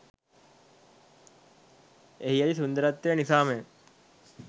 එහි ඇති සුන්දරත්වය නිසාමය.